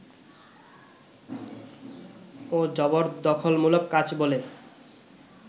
ও জবরদখলমূলক কাজ বলে